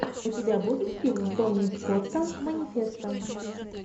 у тебя будет фильм тони скотта манифесто